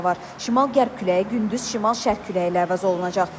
Şimal-qərb küləyi gündüz şimal-şərq küləyi ilə əvəz olunacaq.